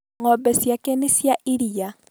Ng'ombe ciake nĩ cia iria